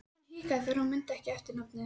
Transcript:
Hann hikaði þegar hann mundi ekki eftirnafnið.